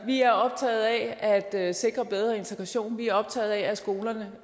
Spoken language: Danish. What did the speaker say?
vi er optaget af at sikre bedre integration vi er optaget af at skolerne